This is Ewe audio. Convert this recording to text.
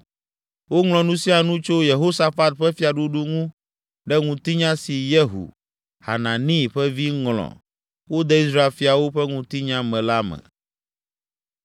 Woŋlɔ nu sia nu tso Yehosafat ƒe fiaɖuɖu ŋu ɖe ŋutinya si Yehu, Hanani ƒe vi, ŋlɔ wode Israel fiawo Ƒe Ŋutinya me la me.